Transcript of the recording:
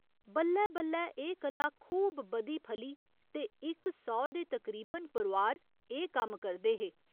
बल्लै बल्लै एह् कला खूब बधी फली ते इक सौ दे तकरीबन परोआर एह् कम्म करदे हे।